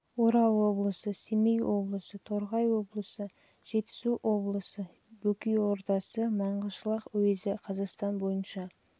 облысы орал облысы семей облысы торғай облысы жетісу облысы бөкей ордасы маңғышлақ уезі қазақстан бойынша